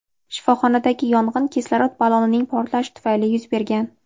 shifoxonadagi yong‘in kislorod ballonining portlashi tufayli yuz bergan.